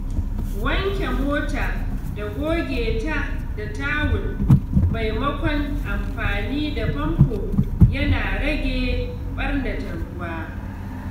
Wanke mota da goge ta da tawul maimakon amfani da famfo yana rage ɓarnata ruwa.